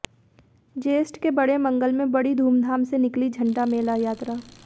ज्येष्ठ के बड़े मंगल में बड़ी धूमधाम से निकली झंडा मेला यात्रा